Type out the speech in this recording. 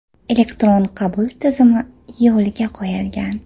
Elektron qabul tizimi yo‘lga qo‘yilgan.